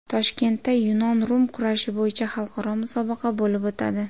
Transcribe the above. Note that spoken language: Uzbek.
Toshkentda yunon-rum kurashi bo‘yicha xalqaro musobaqa bo‘lib o‘tadi.